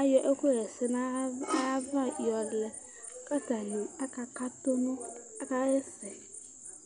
ayɔ ɛkʋ xa ɛsɛ dunu ayava yɔlɛ kʋ atani akaxa ɛsɛ